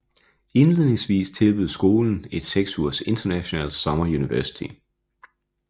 Indledningsvis tilbød skolen et seks ugers International Summer University